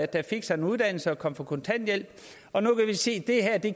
der fik sig en uddannelse og kom på kontanthjælp og nu kan vi se at det